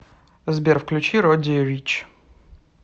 сбер включи родди рич